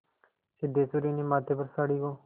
सिद्धेश्वरी ने माथे पर साड़ी को